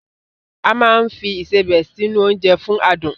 A máa ń fi Ìṣebẹ̀ sí nu oúnjẹ fún adùn